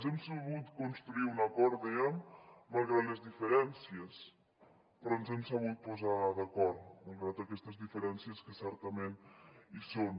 hem sabut construir un acord dèiem malgrat les diferències però ens hem sabut posar d’acord malgrat aquestes diferències que certament hi són